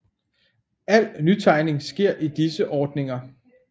Al nytegning sker i disse ordninger